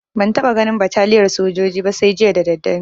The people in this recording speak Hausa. Ban taɓa ganin bataliyar sojoji ba sai jiya da daddare